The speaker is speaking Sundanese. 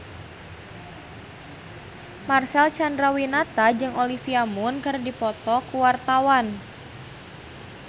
Marcel Chandrawinata jeung Olivia Munn keur dipoto ku wartawan